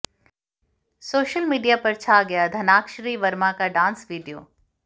social media पर छा गया धनाकश्री वर्मा का डांस वीडियो